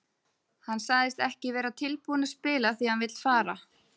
Hann sagðist ekki vera tilbúinn að spila því að hann vill fara.